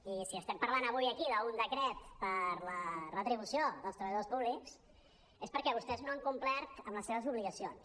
i si estem parlant avui aquí d’un decret per la retribució dels treballadors públics és perquè vostès no han complert amb les seves obligacions